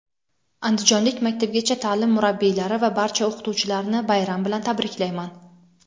andijonlik maktabgacha taʼlim murabbiylari va barcha o‘qituvchilarni bayram bilan tabriklayman.